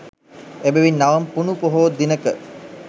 එබැවින් නවම් පුණු පොහෝ දිනක